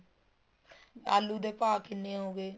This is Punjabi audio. ਆਲੂ ਦਾ ਭਾਹ ਕਿੰਨੇ ਹੋ ਗਏ